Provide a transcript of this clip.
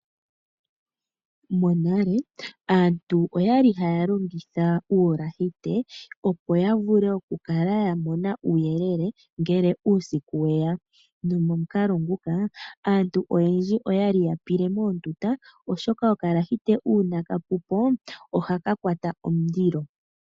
Monale aantu oyali haya longitha uulahite opo ya vule oku kala ya mona uuyelele ngele uusiku weya, nomomukalo nguka aantu oyendji oyali ya pile moondunda oshoka okalahite uuna ka pupo ohaka kwata omulilo.